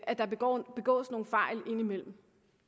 at der begås begås nogle fejl indimellem